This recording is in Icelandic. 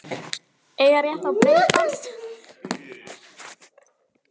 Eiga rétt á breiðbandstengingu lögum samkvæmt